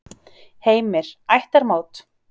Heimir: Ættarmót?